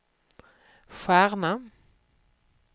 stjärna